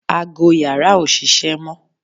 ago yàrá ò ṣiṣẹ́ mọ́